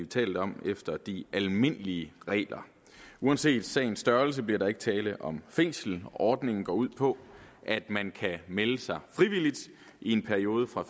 tale om efter de almindelige regler uanset sagens størrelse bliver der ikke tale om fængsel ordningen går ud på at man kan melde sig frivilligt i en periode fra